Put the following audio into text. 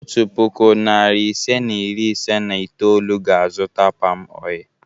Otu puku, narị ise na iri ise na itoolu ga-azụta palmoil.